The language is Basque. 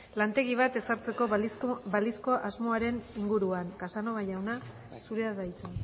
lantegi bat ezartzeko balizko asmoaren inguruan casanova jauna zurea da hitza